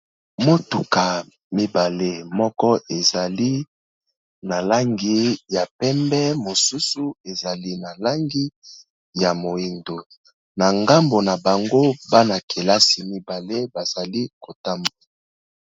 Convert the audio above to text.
Motuka mibale moko ezali na langi ya pembe, mosusu ezali na langi ya moyindo, na ngambo na bango bana-kelasi mibale bazali ko tambola.